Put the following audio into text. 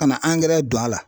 Ka na angɛrɛ don a la.